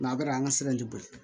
a bɛ an ka sira tɛ boli